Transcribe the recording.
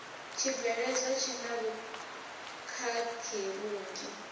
tshibveledzwa tshi na vhukhakhi vhunzhi